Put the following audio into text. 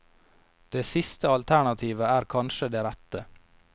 Det siste alternativet er kanskje det rette.